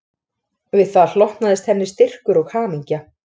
Við það hlotnaðist henni styrkur og hamingja